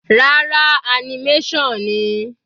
Rárá, animation ni.